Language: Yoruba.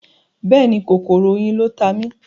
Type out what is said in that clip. Bẹ́ẹ̀ni, kòkòrò oyin ló ta mí.